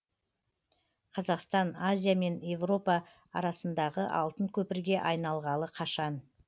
қазақстан азия мен европа арасындағы алтын көпірге айналғалы қашан